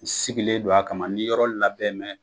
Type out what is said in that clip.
U sigilen don a kama nii yɔrɔ labɛn mɛn